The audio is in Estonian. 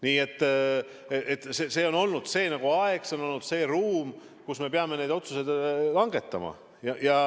Nii et see on see aeg, see on olnud see ruum, kus me peame neid otsuseid langetama.